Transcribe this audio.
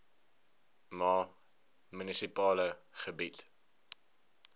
ma munisipale gebied